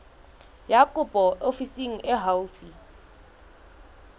ya kopo ofising e haufi